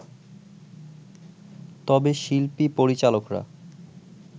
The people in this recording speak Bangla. তবে শিল্পী-পরিচালকরা